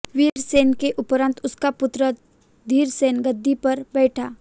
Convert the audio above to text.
वीर सेन के उपरांत उसका पुत्र धीर सन गद्दी पर बैठा